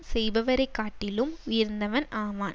செய்பவரை காட்டிலும் உயர்ந்தவன் ஆவான்